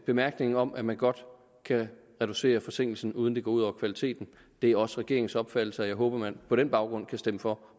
bemærkningen om at man godt kan reducere forsinkelsen uden at det går ud over kvaliteten det er også regeringens opfattelse og jeg håber man på den baggrund kan stemme for